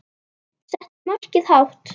Settu markið hátt.